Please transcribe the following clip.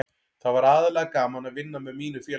Það var aðallega gaman að vinna með mínu félagi.